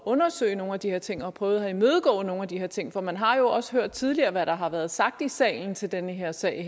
undersøge nogle af de her ting og havde prøvet at imødegå nogle af de her ting for man har jo også hørt tidligere hvad der har været sagt i salen til den her sag